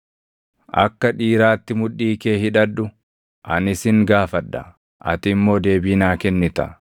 “Akka dhiiraatti mudhii kee hidhadhu; ani sin gaafadha; ati immoo deebii naa kennita.